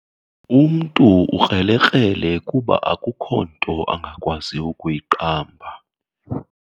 Umntu ukrelekrele kuba akukho nto angakwazi ukuyiqamba.